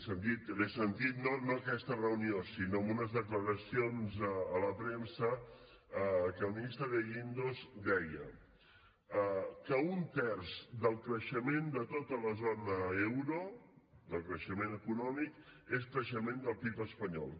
he sentit no en aquesta reunió sinó en unes declaracions a la premsa que el ministre de guindos deia que un terç del creixement de tota la zona euro del creixement econòmic és creixement del pib espanyol